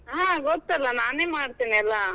ಹಾ ಗೊತ್ತಲ್ಲ, ನಾನೇ ಮಾಡ್ತೀನೆಲ್ಲಾ.